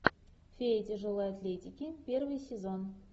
фея тяжелой атлетики первый сезон